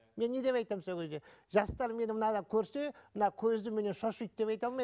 мен не деп айтамын сол кезде жастар меннен мынаны көрсе мына көзден менен шошиды деп айта алмаймын